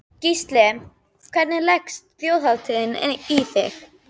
Gísli: Hvernig leggst þjóðhátíðin í þig?